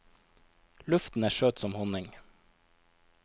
Luften er søt som honning.